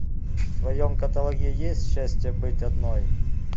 в твоем каталоге есть счастье быть одной